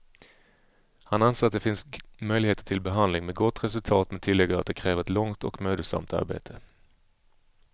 Han anser att det finns möjligheter till behandling med gott resultat, men tillägger att det kräver ett långt och mödosamt arbete.